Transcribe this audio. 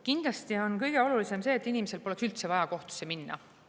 Kindlasti on kõige olulisem see, et inimesel poleks üldse vaja kohtusse minna.